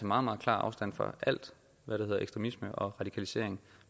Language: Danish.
meget meget klar afstand fra alt hvad det hedder ekstremisme og radikalisering